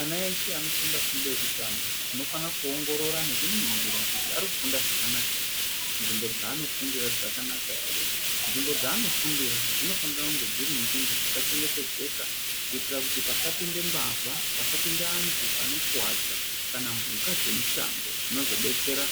Ana eshe anofunda fundo yekutanga tinofanira kuongorora nekuningira kuti arikufunda zvakanaka ere , nzvimbo dzaarikufundira dzakanaka ere . Nzvimbo dzaarikufundira dzinofana kunge dziri nzvimbo dzakachengetedzeka kuita kuti pasapinda mbavha pasapinda antu anokuwadza kana mbuka dzemushango zvinotodetsera